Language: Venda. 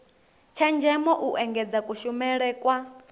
tshenzhemo u engedza kushumele kwa